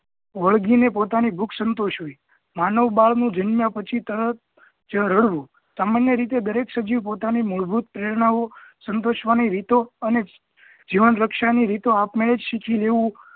વડગીને પોતાની ભુખ સંતોષવી માનવ બાળ નુ જન્મ્યા પછી તરત જ રડવું સામાન્ય રીતે દરેક સજીવ પોતાની મૂળભૂત પ્રેરણાઓ સંતોષવા ની રીતો અને જીવન રક્ષા ની રીતો આપમેળે જ સીખી લેવું